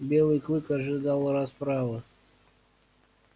белый клык ожидал расправы